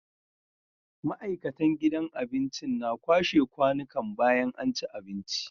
Ma'aikatan gidan abincin na kwashe kwanikan bayan anci abinci